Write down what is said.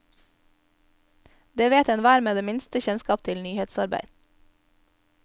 Det vet enhver med det minste kjennskap til nyhetsarbeid.